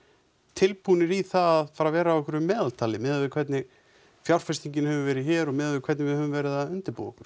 tilbúnir í það að fara að vera á einhverju meðaltali miðað við hvernig fjárfestingin hefur verið hér og miðað við hvernig við höfum verið að undirbúa okkur